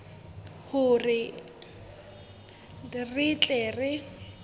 le hore re tle re